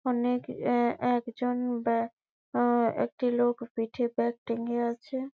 অনেক এ একজন ব্যা আহ একটা লোক পিঠে ব্যাগ টা লিয়ে আছে।